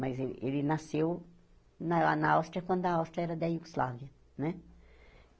Mas ele ele nasceu na Áus Áustria quando a Áustria era da Iugoslávia, né?